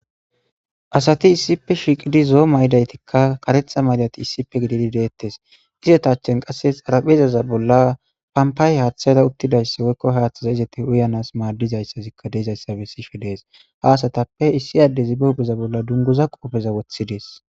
asati issippe shiiqidi zoo maydaytikka karexa maydati issippe gididi deettes izetachen qasses araphezaza bolla pampaay haaththayra uttidayssa woykko haaththaza izete uyanas maaddizayssazikka deezayssabe sishe dees ha asatappe issi addezi be hupheza bolla dunguza qoofeza woththidees